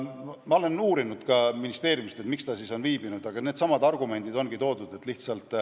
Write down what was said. Ma olen uurinud ka ministeeriumist, et miks see ülevõtmine on viibinud, ja toodud on needsamad argumendid.